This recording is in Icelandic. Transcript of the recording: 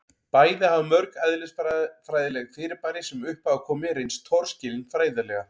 bæði hafa mörg eðlisfræðileg fyrirbæri sem upp hafa komið reynst torskilin fræðilega